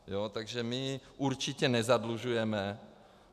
Takže my určitě nezadlužujeme.